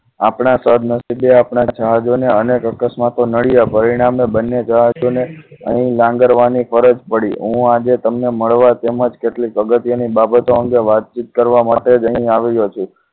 આપણા સદનસીબે આપણા જહાજને અનેક અકસ્માતો નડિયા પરિણામે બંને જહાજોને લાંગણવાની ફરજ પડી હું આજે તમને મળવા તેમજ કેટલીક અગત્યની બાબતો અંગે વાતચીત કરવા માટે જ અહીં આવ્યો છું